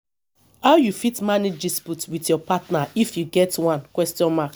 how you fit manage dispute with your partner if you get one question mark